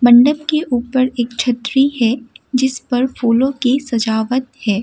मंडप के ऊपर एक छतरी है जिसपर फूलों की सजावट है।